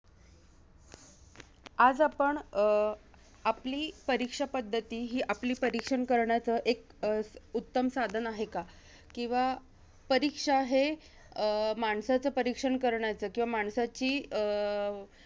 आज आपण, अं आपली परीक्षा पद्धती ही आपली, परीक्षण करण्याचं एक अं उत्तम साधन आहे का? किंवा परीक्षा हे अं माणसाचं परीक्षण करण्याचं किंवा माणसाची अं